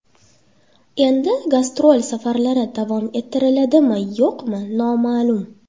Endi gastrol safarlari davom ettiriladimi-yo‘qmi noma’lum.